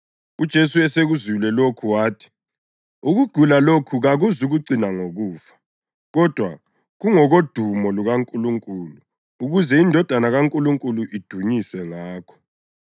UJesu esekuzwile lokhu wathi, “Ukugula lokhu kakuzukucina ngokufa. Kodwa kungokodumo lukaNkulunkulu ukuze iNdodana kaNkulunkulu idunyiswe ngakho.”